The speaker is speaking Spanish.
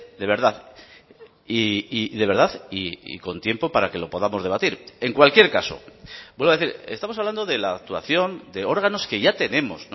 de verdad y de verdad y con tiempo para que lo podamos debatir en cualquier caso vuelvo a decir estamos hablando de la actuación de órganos que ya tenemos